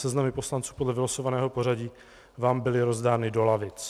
Seznamy poslanců podle vylosovaného pořadí vám byly rozdány do lavic.